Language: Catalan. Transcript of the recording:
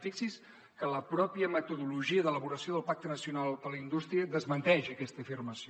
fixi’s que la pròpia metodologia d’elaboració del pacte nacional per la indústria desmenteix aquesta afirmació